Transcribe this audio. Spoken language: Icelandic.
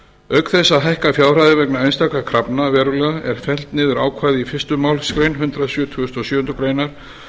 auk þess að hækka fjárhæðir vegna einstakra krafna verulega er fellt niður ákvæði í fyrstu málsgrein hundrað sjötugasta og sjöundu greinar